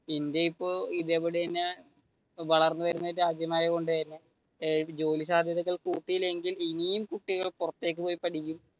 India ഇപ്പൊ ഇതേപടി തന്നെ വളർന്നു വരുന്ന രാജ്യമായതു കൊണ്ട് തന്നെ ജോലി സാദ്ധ്യതകൾ കൂട്ടിലെങ്കിൽ ഇനിയും കുട്ടികൾ പുറത്തേക്ക് പോയി പഠിക്കും.